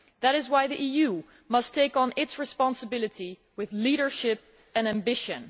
That is why the EU must assume its responsibility with leadership and ambition.